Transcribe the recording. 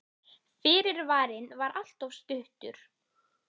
Fyrirvarinn var alltof stuttur.